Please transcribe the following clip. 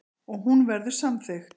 Og hún verður samþykkt.